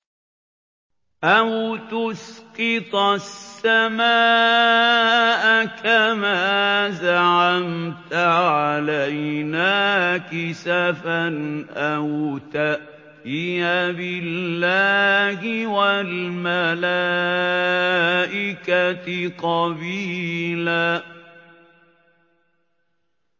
أَوْ تُسْقِطَ السَّمَاءَ كَمَا زَعَمْتَ عَلَيْنَا كِسَفًا أَوْ تَأْتِيَ بِاللَّهِ وَالْمَلَائِكَةِ قَبِيلًا